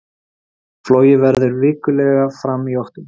Flogið verður vikulega fram í október